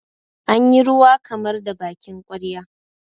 an yi ruwa kamar da bakin ƙwarya